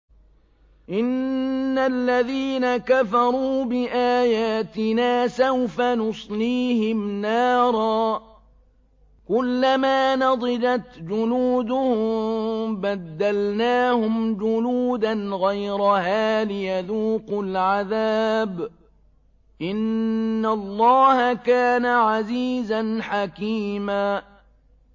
إِنَّ الَّذِينَ كَفَرُوا بِآيَاتِنَا سَوْفَ نُصْلِيهِمْ نَارًا كُلَّمَا نَضِجَتْ جُلُودُهُم بَدَّلْنَاهُمْ جُلُودًا غَيْرَهَا لِيَذُوقُوا الْعَذَابَ ۗ إِنَّ اللَّهَ كَانَ عَزِيزًا حَكِيمًا